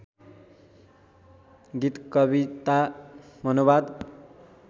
गीत कविता मनोवाद